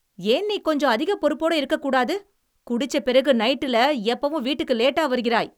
ஏன் நீ கொஞ்சம் அதிகப் பொறுப்போட இருக்கக்கூடாது? குடிச்ச பிறகு நைட்டுல எப்பவும் வீட்டுக்கு லேட்டா வருகிறாய்.